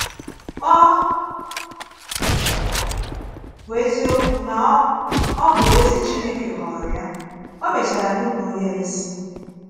Ọ bụ́ ezíọkwu na ọ ọ bụ ezí Chineke họọrọ ya, o mechàrà nùpụrụ ya isi.